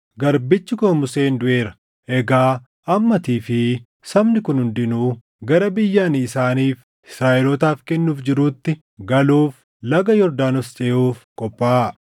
“Garbichi koo Museen duʼeera. Egaa amma atii fi sabni kun hundinuu gara biyya ani isaaniif, Israaʼelootaaf kennuuf jiruutti galuuf Laga Yordaanos ceʼuuf qophaaʼaa.